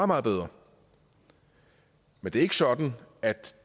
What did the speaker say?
meget bedre men det er ikke sådan at